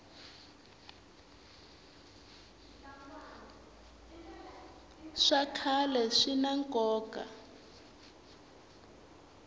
swa khale swina nkoka